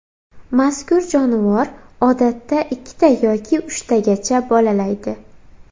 Mazkur jonivor odatda ikkita yoki uchtagacha bolalaydi.